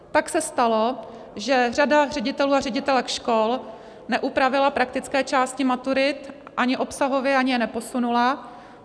Pak se stalo, že řada ředitelů a ředitelek škol neupravila praktické části maturit ani obsahově, ani je neposunula.